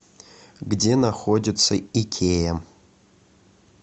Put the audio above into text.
где находится икеа